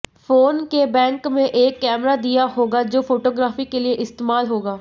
phone के back में एक कैमरा दिया होगा जो फोटोग्राफी के लिए इस्तेमाल होगा